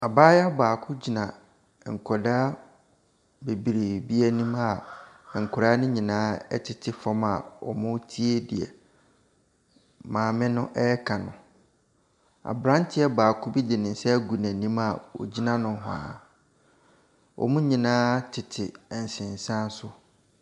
Abayewa baako gyina nkwadaa bebree anim a nkwadaa no nyinaa tete fam a wɔretie deɛ maame no reka no. Aberanteɛ baako bi de ne nsa ago n'anim a ɔgyina nohoa. Wɔn nyinaa tete nsensan so.